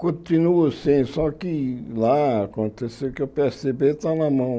Continuo sim, só que lá aconteceu que o pê ésse dê bê está na mão.